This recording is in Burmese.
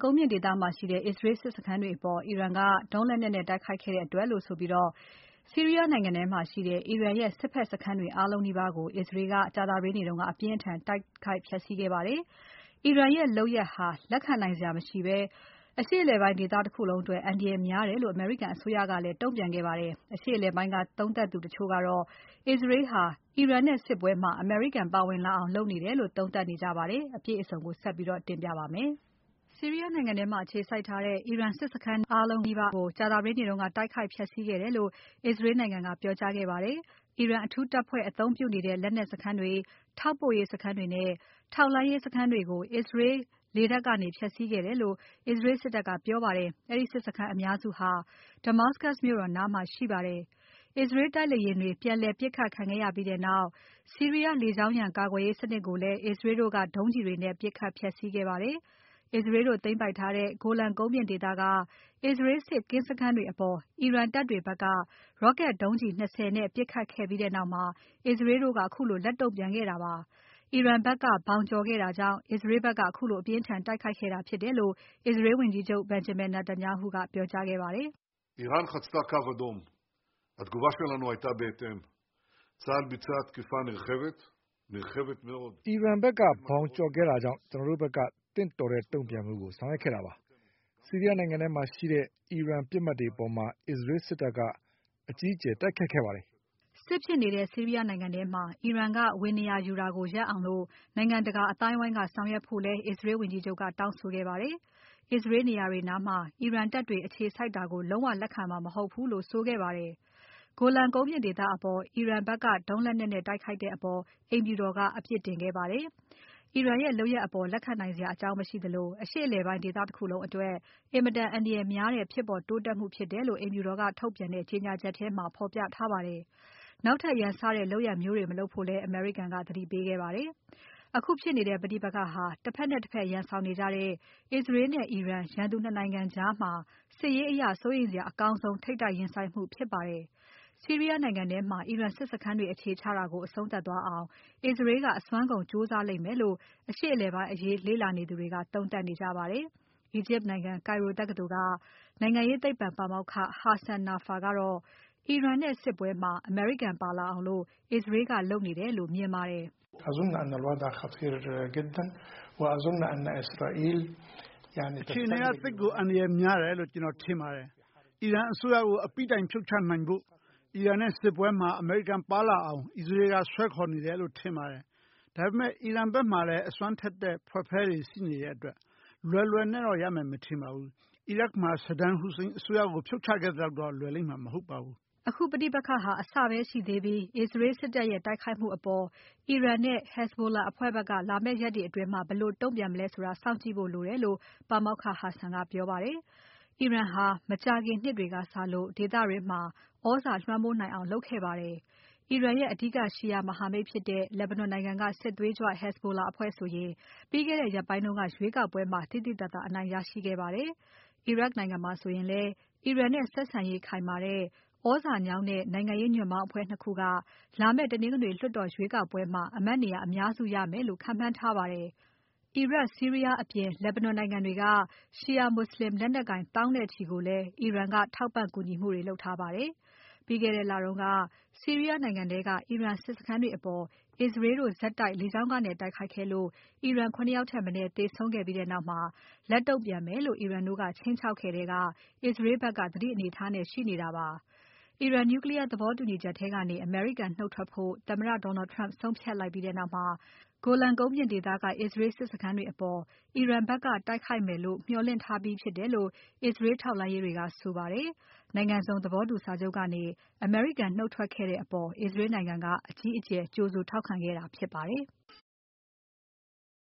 ကုန်းမြင့်ဒေသမှာရှိတဲ့ အစ္စရေး စစ်စခန်းတွေအပေါ် အီရန်က ဒုံးလက်နက်နဲ့ တိုက်ခိုက်တဲ့အတွက်လို့ဆိုပြီး ဆီးရီးယားနိုင်ငံထဲမှာရှိတဲ့ အီရန်ရဲ့ စစ်ဖက်စခန်းတွေ အားလုံးနီးပါးကို အစ္စရေးက အပြင်းအထန်တိုက်ခိုက်ဖျက်ဆီးခဲ့ပါတယ်။ အီရန်ရဲ့ လုပ်ရပ်ဟာ လက်ခံနိုင်စရာမရှိဘဲ အရှေ့အလယ်ပိုင်းဒေသတခုလုံးအတွက် အန္တရာယ်များတယ်လို့ အမေရိကန်အစိုးရက တုံ့ပြန်ပါတယ်။ အရှေ့အလယ်ပိုင်းက သုံးသပ်သူတချို့ကတော့ အစ္စရေးဟာ အီရန်နဲ့ စစ်ပွဲမှာ အမေရိကန် ပါဝင်လာအောင် လုပ်နေတယ်လို့ သုံးသပ်နေကြပါတယ်။ အပြည့်အစုံကို မစုမြတ်မွန်က ဆက်ပြီးတင်ပြပါမယ်။ ဆီရီးယားနိုင်ငံထဲမှာအခြေစိုက်ထားတဲ့ အီရန်စစ်စခန်း အားလုံးနီးပါးကို ကြာသပတေးနေ့က တိုက်ခိုက်ဖျက်ဆီးခဲ့တယ်လို့ အစ္စရေးနိုင်ငံက ပြောကြားခဲ့ပါတယ်။ အီရန်အထူးတပ်ဖွဲ့အသုံးပြုနေတဲ့ လက်နက်စခန်းတွေ။ ထောက်ပို့ရေးစခန်းတွေနဲ့ ထောက်လှမ်းရေးစခန်းတွေကို အစ္စရေးလေတပ်ကနေ ဖျက်ဆီးခဲ့တယ်လို့ အစ္စရေးစစ်တပ်က ပြောပါတယ်။ အဲဒီစစ်စခန်းအများစုဟာ Damascus မြို့တော်နားမှာရှိပါတယ်။ အစ္စရေး တိုက်လေယာဉ်တွေ ပြန်လည်ပစ်ခတ်ခံခဲ့ရပြီးနောက် ဆီးရီးယားလေကြောင်းရန် ကာကွယ်ရေးစနစ်ကိုလည်း အစ္စရေးတို့က ဒုံးကျည်တွေနဲ့ ပစ်ခတ်ဖျက်ဆီးခဲ့ပါတယ်။ အစ္စရေးတို့သိမ်းပိုက်ထားတဲ့ Golan ကုန်းမြင့်ဒေသက အစ္စရေး စစ်ကင်းစခန်းတွေအပေါ် အီရန်တပ်တွေဖက်က Rocket ဒုံးကျည် ၂၀ နဲ့ပစ်ခတ်ခဲ့ပြီးနောက်မှာ အစ္စရေးတို့က ခုလို လက်တုံ့ပြန်ခဲ့တာပါ။ အီရန်ဖက်က ဘောင်ကျော်ခဲ့တာကြောင့် အစ္စရေးဖက်က ခုလို အပြင်းအထန်တိုက်ခိုက်ခဲ့တာဖြစ်တယ်လို့ အစ္စရေးဝန်ကြီးချုပ် Benjamin Netanyahu က ပြောကြားခဲ့ပါတယ်။ "အီရန်ဖက်က ဘောင်ကျော်ခဲ့တာကြောင့် ကျွန်တော်တို့ဖက်က သင့်တော်တဲ့တုံ့ပြန်မှုကို ဆောင်ရွက်ခဲ့တာပါ။ ဆီရီးယားနိုင်ငံထဲမှာရှိတဲ့ အီရန်ပစ်မှတ်တွေအပေါ် အစ္စရေးစစ်တပ်က အကြီးအကျယ်တိုက်ခိုက်ခဲ့ပါတယ်။" စစ်ဖြစ်နေတဲ့ ဆီရီးယားနိုင်ငံထဲမှာ အီရန်က ဝင်နေရာယူနေတာကို ရပ်အောင် နိုင်ငံတကာအသိုင်းအဝိုင်းကဆောင်ရွက်ဖို့လည်း အစ္စရေးဝန်ကြီးချုပ်က တောင်းဆိုခဲ့ပါတယ်။ အစ္စရေးနေရာတွေနားမှာ အီရန်တပ်တွေ အခြေစိုက်တာကိုလည်း လုံးဝလက်ခံမှာမဟုတ်ဘူးလို့ ဆိုခဲ့ပါတယ်။ Golan ကုန်းမြင့်ဒေသအပေါ် အီရန်ဖက်က ဒုံးလက်နက်နဲ့ တိုက်ခိုက်တဲ့အပေါ် အိမ်ဖြူတော်က အပြစ်တင်ခဲ့ပါတယ်။ အီရန်ရဲ့ လုပ်ရပ်အပေါ် လက်ခံနိုင်စရာအကြောင်း မရှိသလို အရှေ့အလယ်ပိုင်း ဒေသတခုလုံးအတွက် အင်မတန်အန္တရာယ်များတဲ့ ဖြစ်ပေါ်တိုးတက်မှုဖြစ်တယ်လို့ အိမ်ဖြူတော်က ထုတ်ပြန်တဲ့ ကြေညာချက်ထဲမှာ ဖော်ပြထားပါတယ်။ နောက်ထပ် ရန်စတဲ့ လုပ်ရပ်မျိုးတွေ မလုပ်ဖို့လည်း အမေရိကန်က သတိပေးခဲ့ပါတယ်။ အခုဖြစ်နေတဲ့ ပဋိပက္ခဟာ တဖက်နဲ့တဖက်ရန်ဆောင်နေကြတဲ့ အစ္စရေးနဲ့ အီရန်ရန်သူ ၂ နိုင်ငံကြားမှာ စစ်ရေးအရ စိုးရိမ်စရာအကောင်းဆုံး ထိပ်တိုက်ရင်ဆိုင်မှုဖြစ်ပါတယ်။ ဆီးရီးယားနိုင်ငံထဲမှာ အီရန်စစ်စခန်းတွေ အခြေချနေတာကို အဆုံးသပ်သွားအောင် အစ္စရေးက အစွမ်းကုန်ကြိုးစားလိမ့်မယ်လို့ အရှေ့အလယ်ပိုင်း အရေးလေ့လာနေသူတွေက သုံးသပ်နေကြပါတယ်။ အီဂျစ်နိုင်ငံ Cairo တက္ကသိုလ်က နိုင်ငံရေးသိပ္ပွံပါမောက္ခ Hassan Nafaa ကတော့ အီရန်နဲ့စစ်ပွဲမှာ အမေရိကန်ပါလာအောင် အစ္စရေးကလုပ်နေတယ်လို့ မြင်ပါတယ်။ "အခြေအနေက သိပ်ကို အန္တရာယ်များတယ်လို့ ကျွန်တော်ထင်ပါတယ်။ အီရန်အစိုးရကို အပြီးတိုင်ဖြုတ်ချနိုင်ဖို့ အီရန်နဲ့စစ်ပွဲမှာ အမေရိကန်ပါလာအောင် အစ္စရေးက စွဲခေါ်နေတယ်လို့ထင်ပါတယ်။ ဒါပေမဲ့ အီရန်ဖက်မှာလည်း အစွမ်းထက်တဲ့ ဝှက်ဖဲတွေရှိတာမို့ လွယ်လွယ်တော့ ရမယ်မထင်ပါဘူး။ အီရတ်မှာ Saddam Hussein အစိုးရကို ဖြုတ်ချခဲ့သလောက်တော့ လွယ်မှာ မဟုတ်ပါဘူး။" အခုပဋိပက္ခဟာ အစပဲရှိသေးပြီး အစ္စရေးစစ်တပ်ရဲ့ တိုက်ခိုက်မှုအပေါ် အီရန်နဲ့ Hezbollah အဖွဲ့ဖက်က လာမယ့်ရက်တွေအတွင်း ဘယ်လိုတုံ့ပြန်မလဲဆိုတာကို လည်းစောင့်ကြည့်ဖို့လိုတယ်လို့ ပါမောက္ခ Hassan ကပြောပါတယ်။ အီရန်ဟာ မကြာခင်နှစ်တွေကစလို့ ဒေသတွင်းမှာ သြဇာလွှမ်းမိုးနိုင်အောင် လုပ်ခဲ့ပါတယ်။ အီရန်ရဲ့ အဓိက Shia မဟာမိတ်ဖြစ်တဲ့ လက်ဘနွန်နိုင်ငံက စစ်သွေးကြွ Hezbollah အဖွဲ့ဆိုရင် ပြီးခဲ့တဲ့ရက်ပိုင်းတုန်းက ရွေးကောက်ပွဲမှာ သိသိသာသာ အနိုင်ရရှိခဲ့ပါတယ်။ အီရတ်မှာဆိုရင်လည်း အီရန်နဲ့ ဆက်ဆံရေးခိုင်မာတဲ့ သြဇာညောင်းတဲ့ နိုင်ငံရေးညွှန့်ပေါင်းအဖွဲ့ ၂ ခုက လာမယ့် တနင်္ဂနွေ လွှတ်တော်ရွေးကောက်ပွဲမှာ အမတ်နေရာ အများစုရမယ်လို့ ခန့်မှန်းထားပါတယ်။ အီရတ်။ ဆီးရီးယားအပြင် လက်ဘနွန်နိုင်ငံတွေက ရှီရာမွတ်ဆလင်လက်နက်ကိုင် သောင်းနဲ့ချီကို အီရန်က ထောက်ပံ့ကူညီမှုတွေ လုပ်ခဲ့ပါတယ်။ ပြီးခဲ့တဲ့လက ဆီရီးယားနိုင်ငံထဲက အီရန် စစ်စခန်းတွေအပေါ် အစ္စရေးတို့ဆက်တိုက် လေကြောင်းကနေတိုက်ခိုက်ခဲ့လို့ အီရန် ၇ ယောက်ထက်မနည်း သေဆုံးခဲ့ပြီးနောက် လက်တုံ့ပြန်မယ်လို့ အီရန်တို့က ခြိမ်းခြောက်ခဲ့ထဲက အစ္စရေးဖက်က သတိအနေအထားနဲ့ ရှိနေတာပါ။ အီရန် Nuclear သဘောတူညီချက်ထဲကနေ အမေရိကန်နှုတ်ထွက်ဖို့ သမ္မတ Donald Trump ဆုံးဖြတ်လိုက်ပြီးနောက်မှာ Golan ကုန်းမြင့်ဒေသကအစ္စရေးစစ်စခန်းတွေအပေါ် အီရန်ဖက်က တိုက်ခိုက်မယ်လို့ မျှော်လင့်ထားပြီးဖြစ်တယ်လို့ အစ္စရေးထောက်လှမ်းရေးတွေက ဆိုပါတယ်။ နိုင်ငံစုံသဘောတူညီစာချုပ်ကနေ အမေရိကန်နှုတ်ထွက်ခဲ့တဲ့အပေါ် အစ္စရေးနိုင်ငံက အကြီးအကျယ် ကြိုဆို ထောက်ခံခဲ့တာဖြစ်ပါတယ်။